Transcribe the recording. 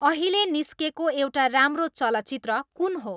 अहिलेे निस्केको एउटा राम्रो चलचित्र कुन हो